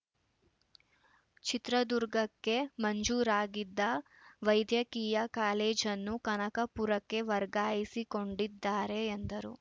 ಚಿತ್ರದುರ್ಗಕ್ಕೆ ಮಂಜೂರಾಗಿದ್ದ ವೈದ್ಯಕೀಯ ಕಾಲೇಜನ್ನು ಕನಕಪುರಕ್ಕೆ ವರ್ಗಾಯಿಸಿಕೊಂಡಿದ್ದಾರೆ ಎಂದರು